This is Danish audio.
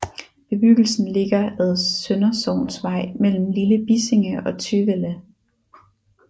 Bebyggelsen ligger ad Søndersognsvej mellem Lille Bissinge og Tøvelde